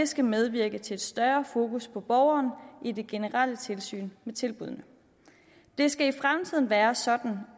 skal medvirke til større fokus på borgeren i det generelle tilsyn med tilbuddene det skal i fremtiden være sådan